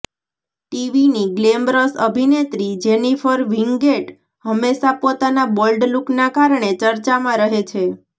ટીવીની ગ્લેમરસ અભિનેત્રી Jennifer Winget હંમેશા પોતાના બોલ્ડ લૂકના કારણે ચર્ચામાં રહે છે